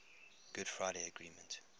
good friday agreement